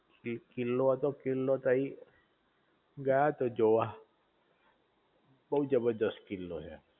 કિલ્લો હતો કિલ્લો તઈ ગયા તા જોવા